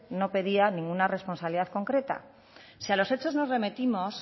no pedía ninguna responsabilidad concreta si a los hechos nos remitimos